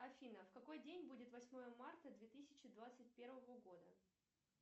афина в какой день будет восьмое марта две тысячи двадцать первого года